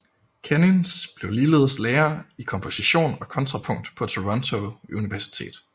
Kenins blev ligeledes lærer i komposition og kontrapunkt på Toronto Universitet